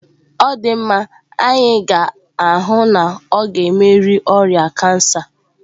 Ọ dị mma, anyị ga-ahụ na ọ ga-emeri oria kansa.